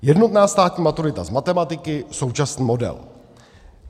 Jednotná státní maturita z matematiky, současný model.